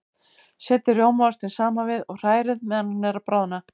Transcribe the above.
Setjið rjómaostinn saman við og hrærið meðan hann er að bráðna.